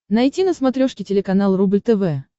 найти на смотрешке телеканал рубль тв